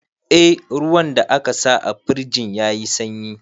Eh, ruwan da aka sa a firjin ya yi sanyi